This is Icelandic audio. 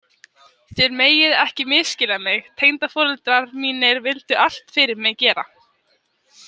Þér megið ekki misskilja mig, tengdaforeldrar mínir vildu allt fyrir mig gera.